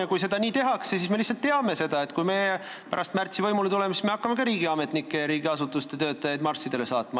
Ja kui seda nii tehakse, siis me lihtsalt teame, et kui me pärast märtsi võimule tuleme, siis me hakkame ka riigiametnikke ja muid riigiasutuste töötajaid marssidele saatma.